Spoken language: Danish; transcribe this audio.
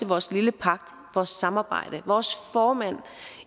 vores lille pagt vores samarbejde vores formænd